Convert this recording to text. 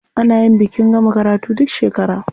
A nayi bikin gama karatu duk shekara.